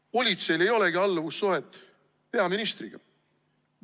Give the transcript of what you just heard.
Kas politseil ei olegi alluvussuhet peaministriga?